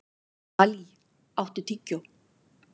Dalí, áttu tyggjó?